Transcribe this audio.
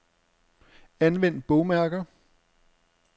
Anvend bogmærker.